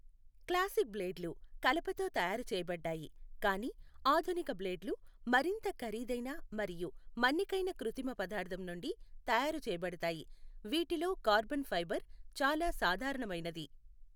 Classic బ్లేడ్లు కలపతో తయారు చేయబడ్డాయి, కానీ ఆధునిక బ్లేడ్లు మరింత ఖరీదైన మరియు మన్నికైన కృత్రిమ పదార్థం నుండి తయారు చేయబడతాయి, వీటిలో కార్బన్ ఫైబర్ చాలా సాధారణమైనది.